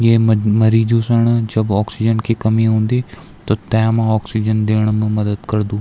ये मन मरीजू सण जब ऑक्सीजन की कमी हुंदी त तैमा ऑक्सीजन देणा मा मदद करदू।